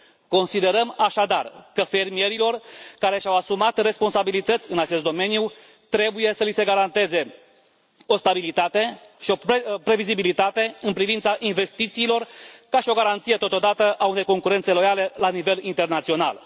Considerăm așadar că fermierilor care și au asumat responsabilități în acest domeniu trebuie să li se garanteze o stabilitate și o previzibilitate în privința investițiilor, ca și o garanție totodată a unei concurențe loiale la nivel internațional.